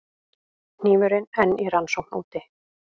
Hnífurinn enn í rannsókn úti